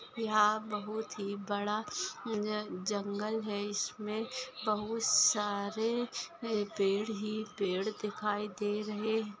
यहाँ बहुत ही बड़ा ज जंगल है इसमे बहुत सारे पेड़ ही पेड़ दिखाई दे रहे--